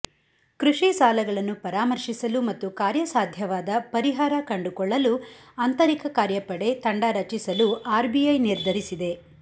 ಕೃಷಿ ಸಾಲಗಳನ್ನು ಪರಾಮರ್ಶಿಸಲು ಮತ್ತು ಕಾರ್ಯಸಾಧ್ಯವಾದ ಪರಿಹಾರ ಕಂಡುಕೊಳ್ಳಲು ಆಂತರಿಕ ಕಾರ್ಯಪಡೆ ತಂಡ ರಚಿಸಲು ಆರ್ಬಿಐ ನಿರ್ಧರಿಸಿದೆ